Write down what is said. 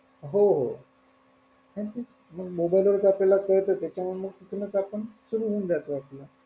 हो हो मग mobile वर तर आपल्याला कळत त्याच्यामुळं त्यादृष्टीने आपण सुरु होऊन जात आपल.